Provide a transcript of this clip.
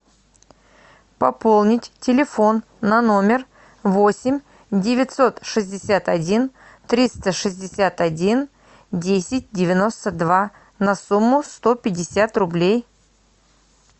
пополнить телефон на номер восемь девятьсот шестьдесят один триста шестьдесят один десять девяносто два на сумму сто пятьдесят рублей